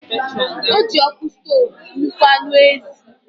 Ọ ji ọkụ stov mịkpọ anụ ezi.